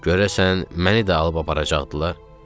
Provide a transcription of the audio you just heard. Görəsən məni də alıb aparacaqdılar?